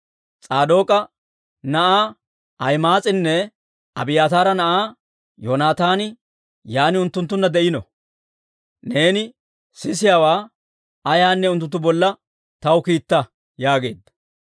S'aadook'a na'aa Ahima'aas'inne Abiyaataara na'aa Yoonataani yaan unttunttunna de'iino; neeni sisiyaawaa ayaanne unttunttu bolla taw kiitta» yaageedda.